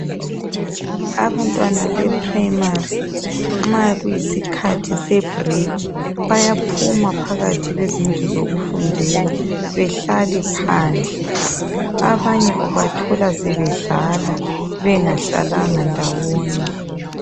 Abantwana beprimary nxa kuyisikhathi sebreak bayaphuma phakathi kwezindlu zokufundela behlale phandle. Abanye ubathola sebedlala bengahlalanga ndawonye.